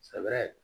Sɛbɛ